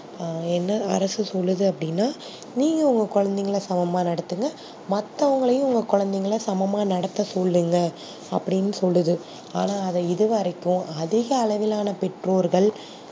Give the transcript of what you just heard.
ஆ என்ன அரசு சொல்லுது அப்டினா நீங்க உங்க குழந்தைகல சமமா நடதுங்கா மத்தவங்களையும் உங்க குழந்தைகல சமமா நடத்த சொல்லுங்க அப்டின்னு சொல்லுது ஆனா அதா இதுவரைக்கும் அதிக அளவில்லான பெற்றோர்கள்